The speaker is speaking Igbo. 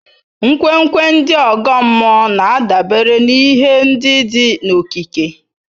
Nkwenkwe ndị ọgọ mmụọ na-adabere n'ihe ndị dị n'okike.